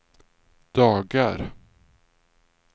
dagar